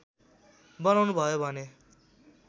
बनाउनु भयो भने